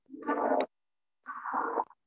ம்